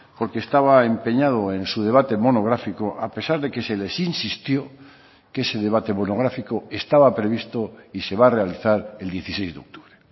porque estaba empeñado en su debate monográfico a pesar de que se les insistió que ese debate monográfico estaba previsto y se va a realizar el dieciséis de octubre